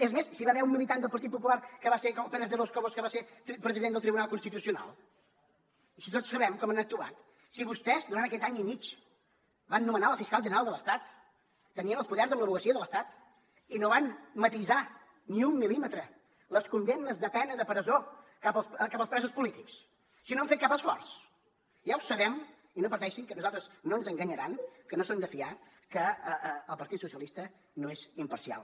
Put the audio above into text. és més si hi va haver un militant del partit popular que va ser pérez de los cobos que va ser president del tribunal constitucional i si tots sabem com han actuat si vostès durant aquest any i mig van nomenar la fiscal general de l’estat tenien els poders amb l’advocacia de l’estat i no van matisar ni un mil·límetre les condemnes de pena de presó cap als presos polítics si no han fet cap esforç ja ho sabem i no pateixin que a nosaltres no ens enganyaran que no són de fiar que el partit socialista no és imparcial